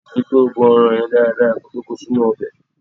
Ri pé o bọ ẹran yẹn dáradára ko tó ko sínú ọbẹ̀.